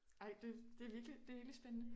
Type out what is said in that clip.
Ej det det virkelig spændende